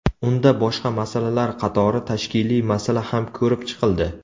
Unda boshqa masalalar qatori tashkiliy masala ham ko‘rib chiqildi.